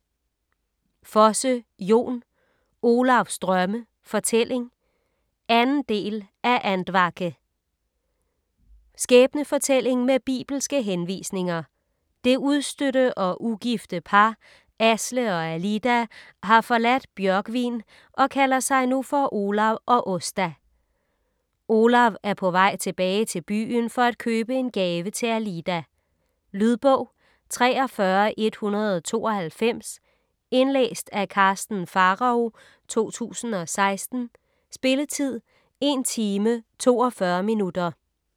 Fosse, Jon: Olavs drømme: fortælling 2. del af Andvake. Skæbnefortælling med bibelske henvisninger. Det udstødte og ugifte par, Asle og Alida, har forladt Bjørgvin og kalder sig nu for Olav og Åsta. Olav er på vej tilbage til byen for at købe en gave til Alida. . Lydbog 43192 Indlæst af Karsten Pharao, 2016. Spilletid: 1 timer, 42 minutter.